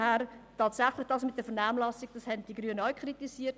Den Umstand mit der Vernehmlassung haben die Grünen auch kritisiert.